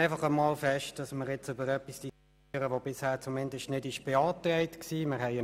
der BaK. Wir diskutieren jetzt über ein Thema, das noch nicht beantragt worden ist.